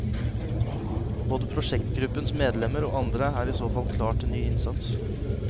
Både prosjektgruppens medlemmer og andre er i så fall klar til ny innsats.